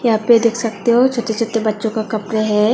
यहां पे देख सकते हो छोटे छोटे बच्चों के कपड़े हैं।